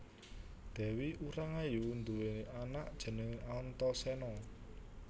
Dèwi Urangayu nduwé anak jenengé Antasena